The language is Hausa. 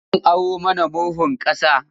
Zan aro mana murhun ƙasa.